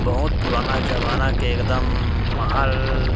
बहुत पुराना जमाना के एकदम महल --